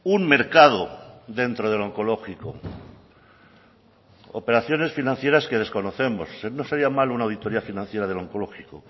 un mercado dentro del oncológico operaciones financieras que desconocemos no sería mal una auditoría financiera del oncológico